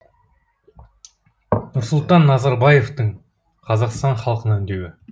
нұрсұлтан назарбаевтың қазақстан халқына үндеуі